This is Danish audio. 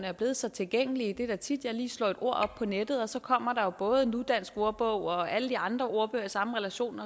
er blevet så tilgængelige det er da tit jeg lige slår et ord op på nettet og så kommer der jo både nudansk ordbog og alle de andre ordbøger i samme relation